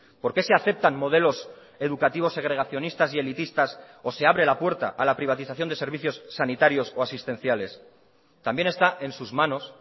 por qué se aceptan modelos educativos segregacionistas y elitistas o se abre la puerta a la privatización de servicios sanitarios o asistenciales también está en sus manos